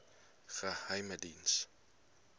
geheimediens